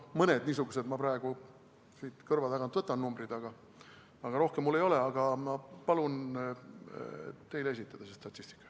Mõned niisugused numbrid ma praegu siit kõrva tagant võtan, rohkem mul meeles ei ole, aga ma palun teile see statistika esitada.